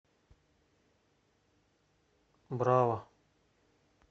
браво